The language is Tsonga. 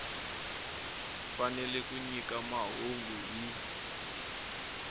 fanele ku nyika mahungu hi